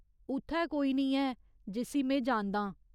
उत्थै कोई निं ऐ जिस्सी में जानदा आं।